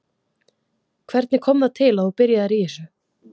Hvernig kom það til að þú byrjaðir í þessu?